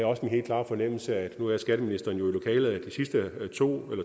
også en helt klar fornemmelse af nu er skatteministeren jo i lokalet at